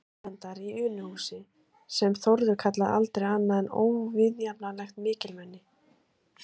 Erlendar í Unuhúsi, sem Þórður kallaði aldrei annað en óviðjafnanlegt mikilmenni.